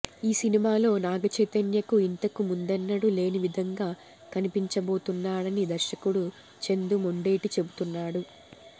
ఈ సినిమాలో నాగ చైతన్యను ఇంతకు ముందెన్నడూ లేని విధంగా కనిపించబోతున్నాడని దర్శకుడు చందూ మొండేటి చెపుతున్నాడు